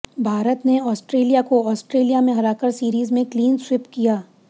भारत ने आस्ट्रेलिया को आस्ट्रेलिया में हराकर सीरीज में क्लीन स्विप किया